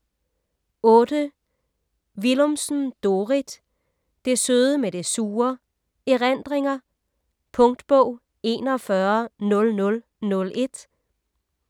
Willumsen, Dorrit: Det søde med det sure: erindringer Punktbog 410001